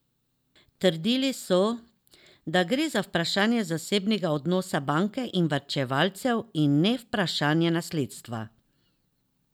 Trdili so, da gre za vprašanje zasebnega odnosa banke in varčevalcev in ne vprašanje nasledstva.